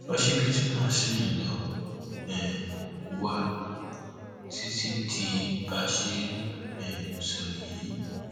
òṣìbìtì náà ṣì ló um wà títí di bá a ṣe ń ń um sọ yìí